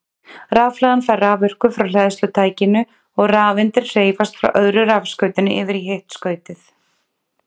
Rafhlaðan fær raforku frá hleðslutækinu og rafeindir hreyfast frá öðru rafskautinu yfir í hitt skautið.